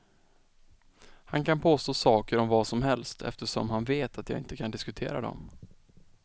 Han kan påstå saker om vad som helst, eftersom han vet att jag inte kan diskutera dem.